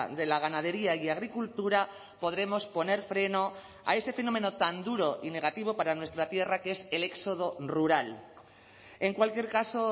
de la ganadería y agricultura podremos poner freno a ese fenómeno tan duro y negativo para nuestra tierra que es el éxodo rural en cualquier caso